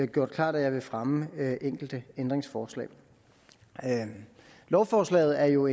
gjort klart at jeg vil fremme enkelte ændringsforslag lovforslaget er jo